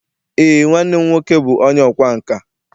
Ee, nwanne m nwoke bụ onye ọkwá nkà